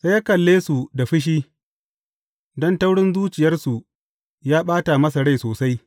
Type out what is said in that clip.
Sai ya kalle su da fushi, don taurin zuciyarsu ya ɓata masa rai sosai.